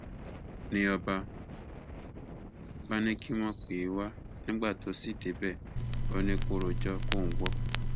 ni ọba bá ní kí wọn pè é wá nígbà tó ṣì débẹ ó ní kó rojọ kóun gbọ